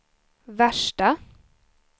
värsta